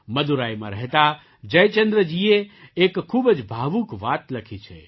મદુરાઈમાં રહેતા જયચંદ્રજીએ એક ખૂબ જ ભાવુક વાત લખી છે